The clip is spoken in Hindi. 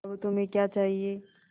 अब तुम्हें क्या चाहिए